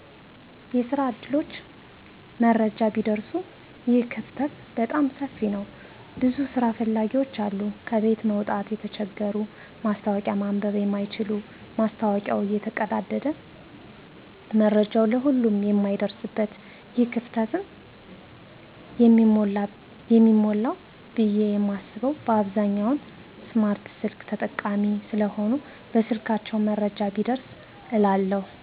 የስራ ዕድሎች መረጃ ቢደርሱ ይህ ክፍተት በጣም ሰፊ ነዉ ብዙ ስራ ፈላጊዎች አሉ ከቤት መዉጣት የተቸገሩ ማስታወቂያ ማንበብ የማይችሉ ማስታወቂያዉ እየተቀደደ መረጃዉ ለሁሉም የማይደርስበት ይህ ክፍተትም የሚሞላዉ ብየ የማስበዉ በአብዛኛዉ ስማርት ስልክ ተጠቃሚ ስለሆነ በስልካቸዉ መረጃዉ ቢደርስ እላለሁ